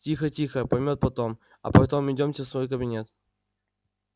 тихо-тихо поймёт потом а потом идёмте в свой кабинет